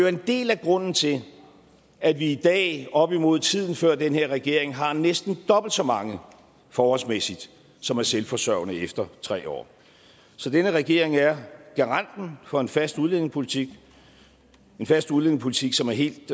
en del af grunden til at vi i dag op imod tiden før den her regering har næsten dobbelt så mange forholdsmæssigt som er selvforsørgende efter tre år så denne regering er garanten for en fast udlændingepolitik en fast udlændingepolitik som er helt